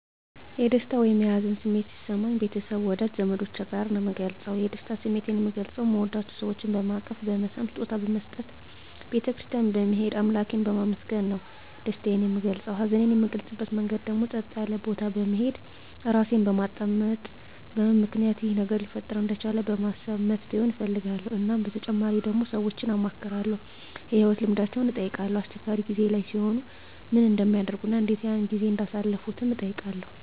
የደስታ ወይም የሀዘን ስሜት ሲሰማኝ ቤተሰብ ወዳጅ ዘመዶቸ ጋር ነዉ ምገልፀዉ የደስታ ስሜቴን ምገልፀዉ ምወዳቸዉ ሰወችን በማቀፍ በመሳም ስጦታ በመስጠት ቤተ ክርስትያን በመሄድ አምላኬን በማመስገን ነዉ ደስታየን ምገልፀዉ ሀዘኔን ምገልፅበት መንገድ ደግሞ ፀጥ ያለ ቦታ በመሄድ ራሴን በማዳመጥ በምን ምክንያት ይሄ ነገር ሊፈጠር እንደቻለ በማሰብ መፍትሄዉን እፈልጋለዉ እናም በተጨማሪ ደግሞ ሰወችን አማክራለዉ የህይወት ልምዳቸዉን እጠይቃለዉ አስቸጋሪ ጊዜ ላይ ሲሆኑ ምን እንደሚያደርጉ እና እንዴት ያን ጊዜ እንዳሳለፉትም እጠይቃለዉ